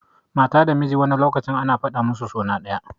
Mata da miji wani lokacin ana fada musu suna daya.